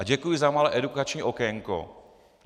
A děkuji za malé edukační okénko.